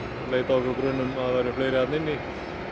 leita af okkur grun um að það væru fleiri þarna inni